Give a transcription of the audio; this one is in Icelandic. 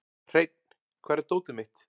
Hreinn, hvar er dótið mitt?